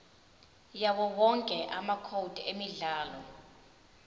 yawowonke amacode emidlalo